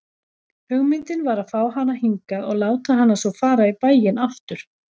Hugmyndin var að fá hana hingað og láta hana svo fara í bæinn aftur.